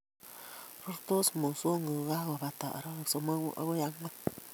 Rurtos mosongik kokakobata arawek somok agoi ang'wan